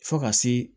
Fo ka se